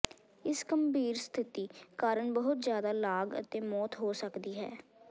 ਇਸ ਗੰਭੀਰ ਸਥਿਤੀ ਕਾਰਨ ਬਹੁਤ ਜ਼ਿਆਦਾ ਲਾਗ ਅਤੇ ਮੌਤ ਹੋ ਸਕਦੀ ਹੈ